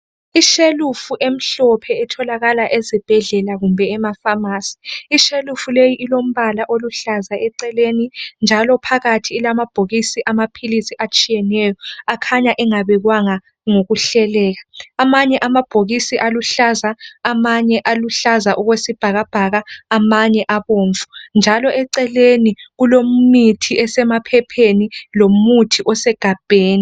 Ishelufu emhlophe etholakala ezibhedlela kumbe emafamasi ishelufu leyi ilombala oluhlaza eceleni njalo phakathi ilamabhokisi amaphilisi atshiyeneyo akhanya engabekwanga ngokuhleleka amanye amabhokisi aluhlaza, amanye aluhlaza okwesibhakabhaka amanye abomvu njalo eceleni kulemithi esemaphepheni lomuthi osegabheni.